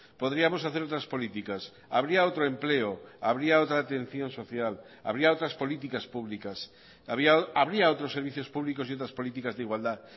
podríamos hacer otras políticas habría otro empleo habría otra atención social habría otras políticas públicas habría otros servicios públicos y otras políticas de igualdad